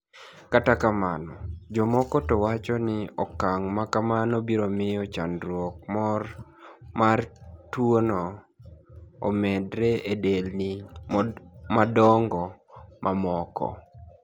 Kata kamano, jomoko to wacho nii okanig' ma kamano biro miyo chanidruok mar tuwono omedre e delnii madonigo mamoko.